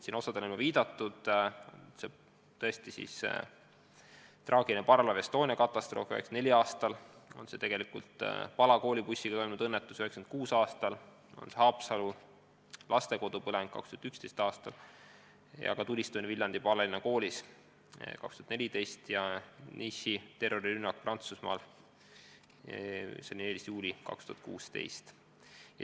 Mõnele neist on juba viidatud: traagiline katastroof parvlaev Estoniaga 1994. aastal, Pala kooli bussiga juhtunud õnnetus 1996. aastal, Haapsalu lastekodu põleng 2011. aastal, tulistamine Viljandi Paalalinna Koolis 2014. aastal ning Prantsusmaal Nice'is toime pandud terrorirünnak 14. juulil 2016.